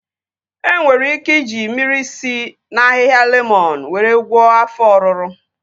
E nwere ike iji mmiri si na ahịhịa lemọn were gwọọ afọ ọruru